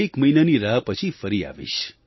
એક મહિનાની રાહ પછી ફરી આવીશ